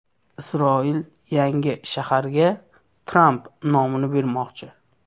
Isroil yangi shaharga Tramp nomini bermoqchi.